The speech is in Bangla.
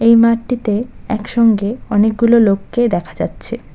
মাঠটিতে একসঙ্গে অনেকগুলো লোককে দেখা যাচ্ছে।